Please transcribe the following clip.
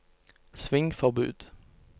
svingforbud